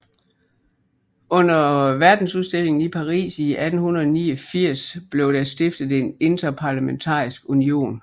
Under verdensudstillingen i Paris i 1889 blev der stiftet en interparlamentarisk union